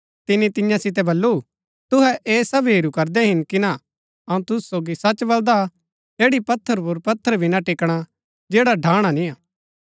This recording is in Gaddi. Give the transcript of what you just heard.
तिनी तियां सितै बल्लू तुहै ऐह सब हेरू करदै हिन ना अऊँ तुसु सोगी सच बलदा ऐड़ी पत्थर पुर पत्थर भी ना टिकणा जैडा ढाणा निय्आ